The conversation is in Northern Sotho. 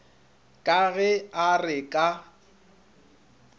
ka ge a re ka